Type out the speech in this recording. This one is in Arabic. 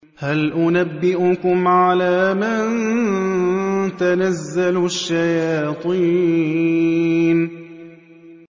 هَلْ أُنَبِّئُكُمْ عَلَىٰ مَن تَنَزَّلُ الشَّيَاطِينُ